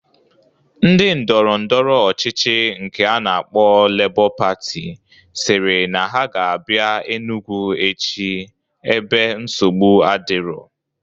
Ndi ndọrọndọrọ ọchịchị nke a na-akpọ Lebọ Patị siri na ha ga abia Enugwu echi ebe nsogbu adiro